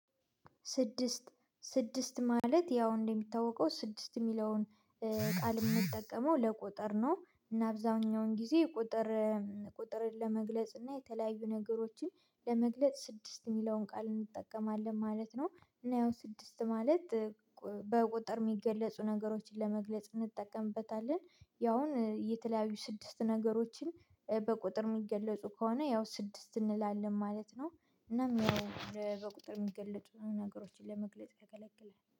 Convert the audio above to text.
ስድስት ስድስት ማለት ያው እንደሚታወቀው ስድስት ሚለውን ቃል ምጠቀመው ለቁጥር ነው እና አብዛኛውን ጊዜ ቁጥር ቁጥርን ለመግለጽ እና የተለያዩ ነገሮችን ለመግለጽ ስድስት ሚለውን ቃል እንጠቀማለን ማለት ነው። እና ያው ስድስት ማለት በቁጥር ሚገለጹ ነገሮችን ለመግለጽ እንጠቀምበታለን ያውን የተለያዩ ስድስት ነገሮችን በቁጥር ሚገለጹ ከሆነ ያው ስድስት እንላለን ማለት ነው። እናም ያው በቁጥር የሚገለጡ ነገሮችን ለመግለጽ ይከለክላል